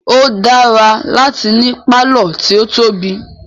O dára láti ní pálọ̀ tí o tóbi.